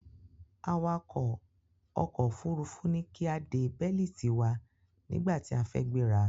Awàkọ̀ ọkò òfurufú ní kí a de bẹ́lítì wa nígbàtí a fẹ́ gbéra.